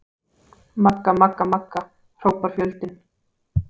Magga-magga-magga, hrópar fjöldinn.